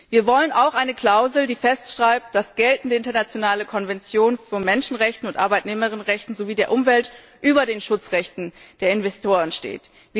Wir wollen auch eine Klausel, die festschreibt, dass geltende internationale Konventionen von Menschenrechten und Arbeitnehmerinnenrechten sowie der Umwelt über den Schutzrechten der Investoren stehen.